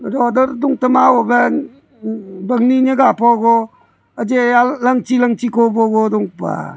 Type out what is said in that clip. bangne neyga pogu eji langchii-langchii kobu dongpa.